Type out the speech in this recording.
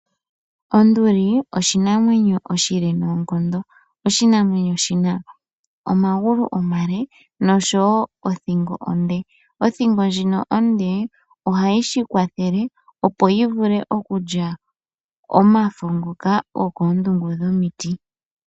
Onduli oshinamwenyo oshile noonkondo. Oshinamwenyo shina omagulu omale nosho wo nothingo onde, othingo ndjika onde ohayi shikwathele opo yivule okulya omafo ngoka gokondungo yomiti.